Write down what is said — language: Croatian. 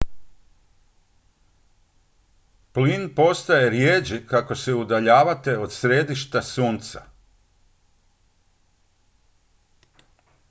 plin postaje rijeđi kako se udaljavate od središta sunca